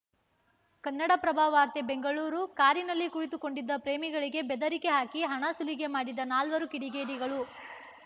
ಕನ್ನಡಪ್ರಭ ವಾರ್ತೆ ಬೆಂಗಳೂರು ಕಾರಿನಲ್ಲಿ ಕುಳಿತುಕೊಂಡಿದ್ದ ಪ್ರೇಮಿಗಳಿಗೆ ಬೆದರಿಕೆ ಹಾಕಿ ಹಣ ಸುಲಿಗೆ ಮಾಡಿದ ನಾಲ್ವರು ಕಿಡಿಗೇಡಿಗಳು